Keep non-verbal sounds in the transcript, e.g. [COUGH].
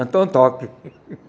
Então toque. [LAUGHS]